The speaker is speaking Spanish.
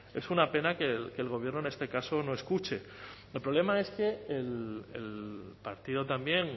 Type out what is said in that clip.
es una pena que el gobierno en este caso no escuche el problema es que el partido también